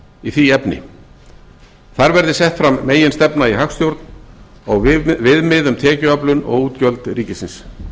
í því efni þar verði sett fram meginstefna í hagstjórn og viðmið um tekjuöflun og útgjöld ríkisins